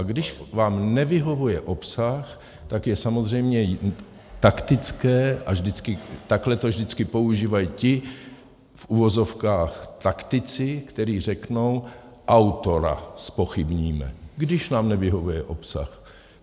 A když vám nevyhovuje obsah, tak je samozřejmě taktické, a takhle to vždycky používají ti v uvozovkách taktici, kteří řeknou, autora zpochybníme, když nám nevyhovuje obsah.